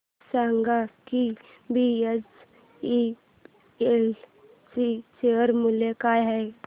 हे सांगा की बीएचईएल चे शेअर मूल्य काय आहे